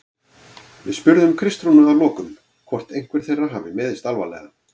Við spurðum Kristrúnu að lokum hvort einhver þeirra hafi meiðst alvarlega?